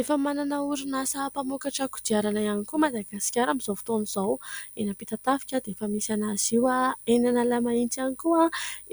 Efa manana orinasa mpamokatra kodiarana ihany koa i Madagasikara amin'izao fotoana izao. Eny Ampitatafika dia efa misy anazy io, eny Analamahitsy ihany koa,